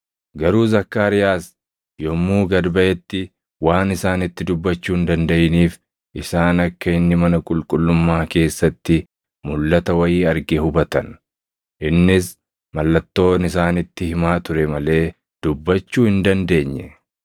Garuu Zakkaariyaas yommuu gad baʼetti waan isaanitti dubbachuu hin dandaʼiiniif isaan akka inni mana qulqullummaa keessatti mulʼata wayii arge hubatan; innis mallattoon isaanitti himaa ture malee dubbachuu hin dandeenye.